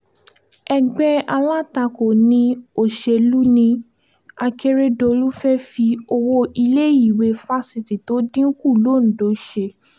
ẹgbẹ́ alátakò ní òṣèlú ni akérèdólú fẹ́ẹ́ fi owó iléèwé fásitì tó dín kù londo ṣe